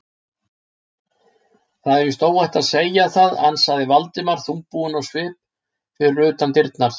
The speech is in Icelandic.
Það er víst óhætt að segja það- ansaði Valdimar þungbúinn á svip fyrir utan dyrnar.